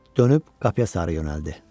Dönüb qapıya sarı yönəldi.